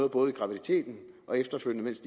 både i graviditeten og efterfølgende mens